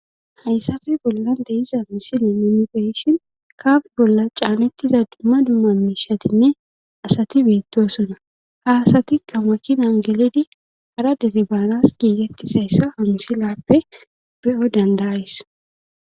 hayssafe bollante iza misile mumifeyshin kaaf bolla caanettiza dumma dummamishatinne asati beettosuna haasati gamakin angeledi hara derebaanas giigettizayssa hamsilappe be7o dandais